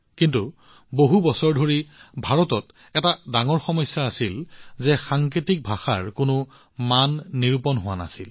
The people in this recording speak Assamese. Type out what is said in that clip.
কিন্তু বছৰ বছৰ ধৰি ভাৰতত এটা ডাঙৰ সমস্যা আছিল যে ইয়াৰ বাবে কোনো স্পষ্ট অংগীভংগী নাছিল সাংকেতিক ভাষাৰ বাবে কোনো মানদণ্ড নাছিল